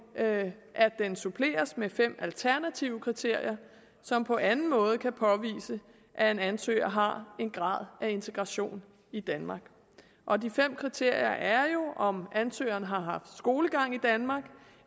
at den suppleres med fem alternative kriterier som på anden måde kan påvise at en ansøger har en grad af integration i danmark og de fem kriterier er jo om ansøgeren har haft skolegang i danmark